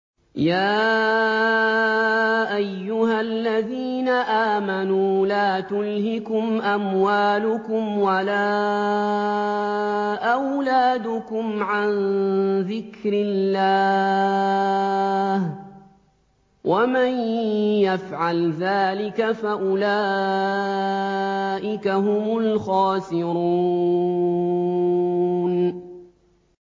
يَا أَيُّهَا الَّذِينَ آمَنُوا لَا تُلْهِكُمْ أَمْوَالُكُمْ وَلَا أَوْلَادُكُمْ عَن ذِكْرِ اللَّهِ ۚ وَمَن يَفْعَلْ ذَٰلِكَ فَأُولَٰئِكَ هُمُ الْخَاسِرُونَ